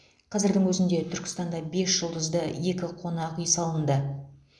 қазірдің өзінде түркістанда бес жұлдызды екі қонақүй салынды